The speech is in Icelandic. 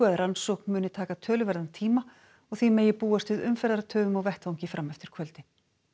að rannsókn muni taka töluverðan tíma og því megi búast við umferðartöfum á vettvangi fram eftir kvöldi